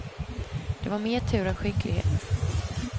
Det var mer tur än skicklighet.